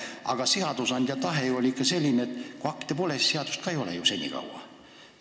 Aga seadusandja tahe oli siiski selline, et kuni rakendusakte pole, pole ka seadust.